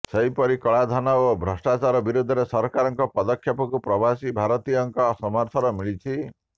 ସେହିପରି କଳାଧନ ଓ ଭ୍ରଷ୍ଟାଚାର ବିରୋଧରେ ସରକାରଙ୍କ ପଦକ୍ଷେପକୁ ପ୍ରବାସୀ ଭାରତୀୟଙ୍କ ସମର୍ଥନ ମିଳିଛି